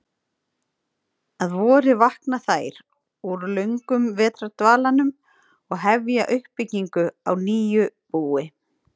Að vori vakna þær úr löngum vetrardvalanum og hefja uppbyggingu á nýju búi.